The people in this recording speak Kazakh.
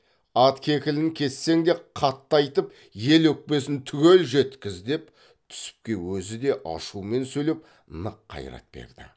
ат кекілін кессең де қатты айтып ел өкпесін түгел жеткіз деп түсіпке өзі де ашумен сөйлеп нық қайрат берді